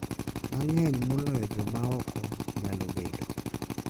Mang'eny moloyo joma oko nyalo bedo,